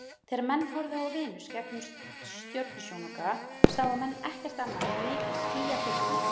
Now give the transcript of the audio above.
Þegar menn horfðu á Venus gegnum stjörnusjónauka sáu menn ekkert annað en mikil skýjaþykkni.